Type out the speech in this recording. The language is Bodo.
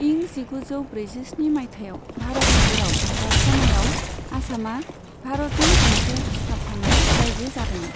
इं जिगुजौ ब्रैजिस्नि मायथाइयाव भारत हादोरआ गावस्रानायाव, आसामआ भारतनि गंसे सिथाबफानाय रायजो जादोंमोन।